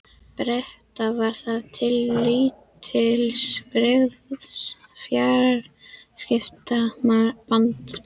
Breta, var það til lítils, brygðist fjarskiptasamband þeirra við Þýskaland.